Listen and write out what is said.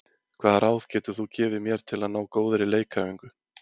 Hvaða ráð getur þú gefið mér til að ná góðri leikæfingu?